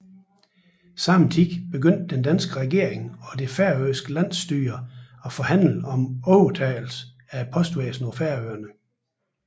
Samtidig begyndte den danske regering og det færøske landsstyre at forhandle om overtagelse af postvæsenet på Færøerne